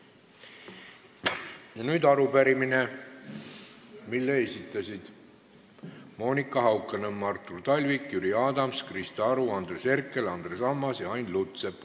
Ja nüüd arupärimine, mille esitasid Monika Haukanõmm, Artur Talvik, Jüri Adams, Krista Aru, Andres Herkel, Andres Ammas ja Ain Lutsepp.